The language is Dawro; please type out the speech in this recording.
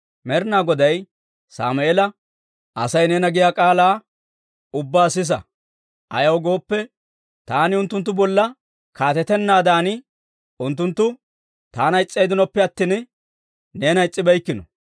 Med'inaa Goday Sammeela, «Asay neena giyaa k'aalaa ubbaa sisa; ayaw gooppe, taani unttunttu bolla kaatetennaadan, unttunttu taana is's'eeddinoppe attina, neena is's'ibeykkino.